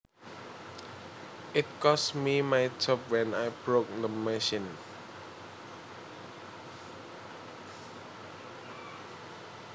It cost me my job when I broke the machine